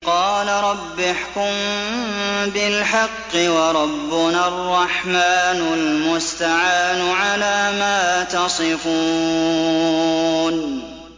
قَالَ رَبِّ احْكُم بِالْحَقِّ ۗ وَرَبُّنَا الرَّحْمَٰنُ الْمُسْتَعَانُ عَلَىٰ مَا تَصِفُونَ